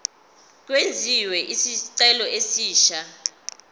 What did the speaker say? kwenziwe isicelo esisha